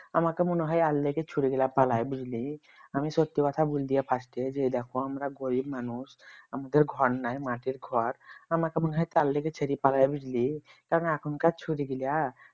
আমাকে মনে হয় এর লেগে ছুরিগুলা পালায় বুঝলি আমি সত্যি কথা বলে দিয়ে first এ এই দেখো আমরা গরিব মানুষ আমাদের ঘর নাই মাটির ঘর আমাকে মনে হয় তার লাগি ছেড়ে পালায় বুঝলি তা এখনকার ছুড়ি গুলা